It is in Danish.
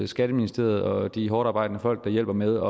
skatteministeriet og de hårdtarbejdende folk der hjælper med